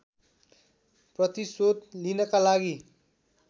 प्रतिशोध लिनका लागि